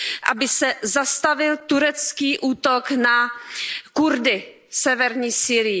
aby se zastavil turecký útok na Kurdy v severní Sýrii?